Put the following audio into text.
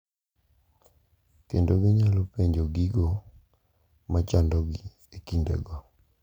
Kendo ginyalo penjo gigo machandogi e kindego.